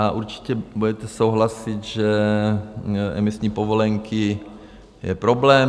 A určitě budete souhlasit, že emisní povolenky jsou problém.